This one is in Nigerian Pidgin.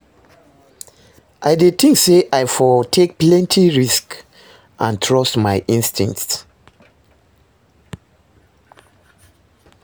I dey think say i for take plenty risks and trust my instincts.